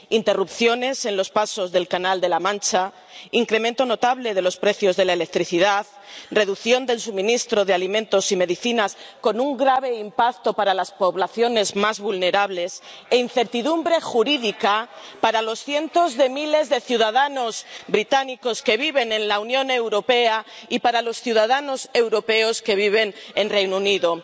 Interrupciones en los pasos del Canal de la Mancha, incremento notable de los precios de la electricidad, reducción del suministro de alimentos y medicinas con un grave impacto para las poblaciones más vulnerables e incertidumbre jurídica para los cientos de miles de ciudadanos británicos que viven en la Unión Europea y para los ciudadanos europeos que viven en el Reino Unido.